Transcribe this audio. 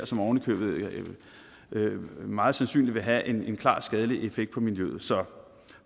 som ovenikøbet meget sandsynligt vil have en klart skadelig effekt på miljøet så